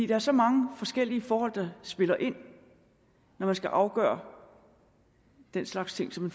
er så mange forskellige forhold der spiller ind når man skal afgøre den slags ting som